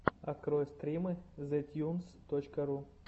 открой стримы зэтьюнс точка ру